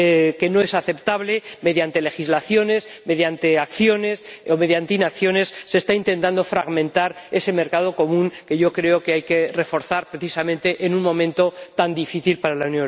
que no es aceptable, mediante legislaciones, mediante acciones o mediante inacciones, se está intentando fragmentar ese mercado común, que yo creo que hay que reforzar precisamente en un momento tan difícil para la